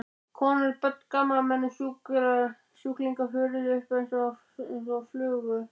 Konur, börn, gamalmenni, sjúklingar fuðruðu upp einsog flugur.